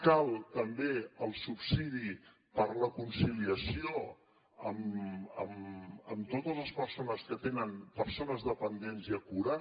cal també el subsidi per la conciliació a totes les persones que tenen persones dependents i a cura